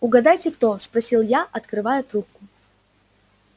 угадайте кто спросил я открывая трубку